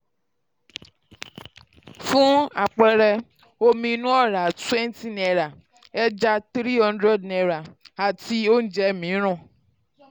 fún àpẹẹrẹ omi um inú ọ̀rá twenty naira ẹja three hundred naira um àti um oúnjẹ mìíràn.